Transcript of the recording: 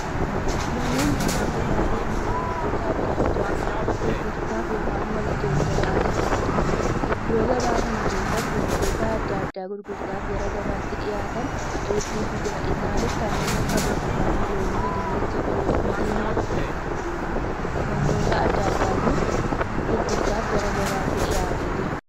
Namoonni kun gabaa deemanii wantoota addaa addaa gurguraaf ykn wal geeddaraa jiraniidha. Iddoo gabaa kana keessatti wantoota addaa addaa gurguraaf gara gabaatti dhihaatan hedduutu jira. Isaaniis kanneen akka burtukaanii, loomii, dinnicha, qullubbii diimaa wantoota addaa addaatu gurguraaf gara gabaatti dhihaatee jira.